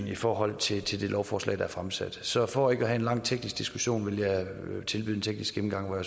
i forhold til til det lovforslag der er fremsat så for ikke at have en lang teknisk diskussion vil jeg tilbyde en teknisk gennemgang hvor